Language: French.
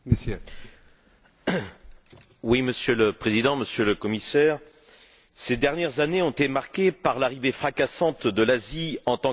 Monsieur le Président, Monsieur le Commissaire, ces dernières années ont été marquées par l'arrivée fracassante de l'Asie en tant qu'acteur incontournable dans l'économie mondiale.